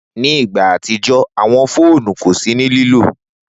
Ni igba atijọ awọn fóònù ko si ni lilo.